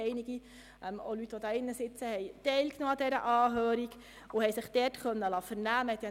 Einige von Ihnen in diesem Saal haben an dieser Anhörung teilgenommen und konnten sich dort vernehmen lassen.